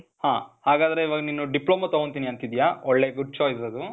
ಹಾ. ಹಾಗಾದ್ರೆ ಇವಾಗ್ ನೀನು ಡಿಪ್ಲೋಮಾ ತೊಗೊಂತೀನಿ ಅಂತಿದೀಯ. ಒಳ್ಳೆ good choice ಅದು.